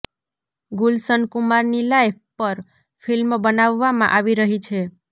ગુલશન કુમારની લાઇફ પર ફિલ્મ બનાવવામાં આવી રહી છે